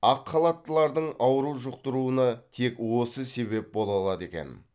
ақ халаттылардың ауру жұқтыруына тек осы себеп бола алады екен